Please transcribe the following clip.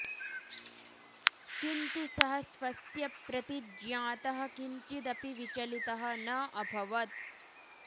किन्तु सः स्वस्य प्रतिज्ञातः किञ्चिदपि विचलितः न अभवत्